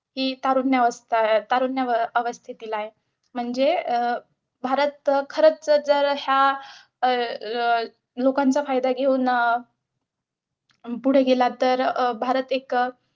कि तारुण्य अवस्था तारुण्य अवस्थेतील आहे. म्हणजे अं भारत खरचं जर ह्या अं अं लोकांचा फायदा घेऊन अं पुढे गेलात तर भारत एक